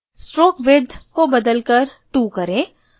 stroke width को बदलकर 2 करें